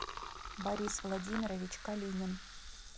борис владимирович калинин